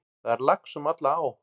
Það er lax um alla á.